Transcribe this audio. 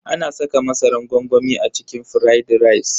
Ana saka masaran gwangwami a cikin firaidi rice.